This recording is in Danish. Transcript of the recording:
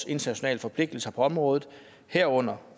internationale forpligtelser på området herunder